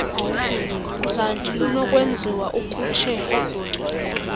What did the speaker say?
zandi lunokwenziwa ukhutshelo